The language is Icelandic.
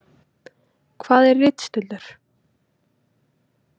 Hvað er ritstuldur?